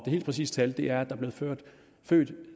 helt præcise tal er at er blevet født